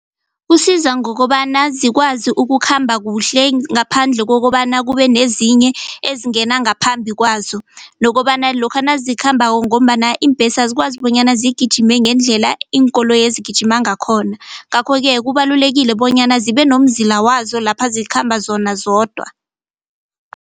Kusiza ngokobana zikwazi ukukhamba kuhle ngaphandle kokobana kube nezinye ezingena ngaphambi kwazo nokobana lokha nazikhambako ngombana iimbhesi azikwazi bonyana zigijime ngendlela iinkoloyezi zigijima ngakhona ngakho-ke kubalulekile bonyana zibenomzila wazo lapha zikhamba zona zodwa.